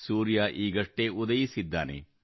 ಸೂರ್ಯ ಈಗಷ್ಟೇ ಉದಯಿಸಿದ್ದಾನೆ